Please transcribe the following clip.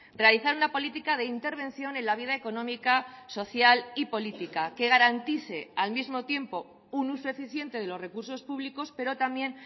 realizar una política de intervención en la vida económica social y política que garantice al mismo tiempo un uso eficiente de los recursos públicos pero también